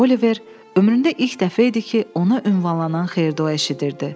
Oliver ömründə ilk dəfə idi ki, ona ünvanlanan xeyir-dua eşidirdi.